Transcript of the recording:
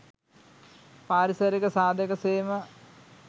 පාරිසරික සාධක සේම,